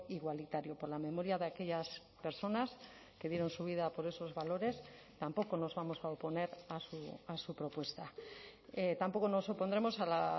igualitario por la memoria de aquellas personas que dieron su vida por esos valores tampoco nos vamos a oponer a su propuesta tampoco nos opondremos a la